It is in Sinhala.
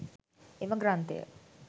එම ග්‍රන්ථය